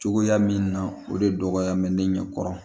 Cogoya min na o de dɔgɔya bɛ ne ɲɛkɔrɔ